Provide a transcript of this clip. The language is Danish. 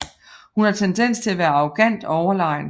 Hun har tendens til at være arrogant og overlegen